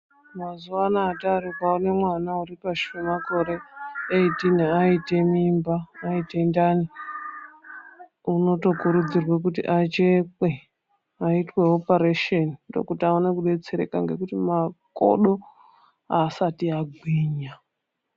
Mazuwa anaa ataari ukaona mwana uri pashi pemakore eitini aite mimba, aite ndani. Unotokurudzirwa kuti achekwe, aitwe oparesheni ndokuti aone kudetsereka ngekuti makodo aasati agwinya.